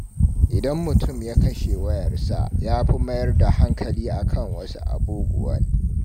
Idan mutum ya kashe wayarsa, ya fi mayar da hankali a kan wasu abubuwan.